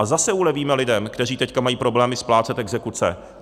A zase ulevíme lidem, kteří teď mají problémy splácet exekuce.